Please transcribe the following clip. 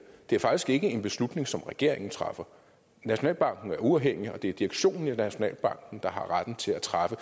det er faktisk ikke en beslutning som regeringen træffer nationalbanken er uafhængig og det er direktionen i nationalbanken der har retten til at træffe